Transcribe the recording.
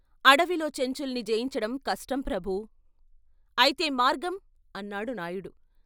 అడవిలో చెంచుల్ని జయించడం కష్టం ప్రభూ, అయితే మార్గం అన్నాడు నాయుడు.